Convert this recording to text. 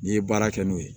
N'i ye baara kɛ n'o ye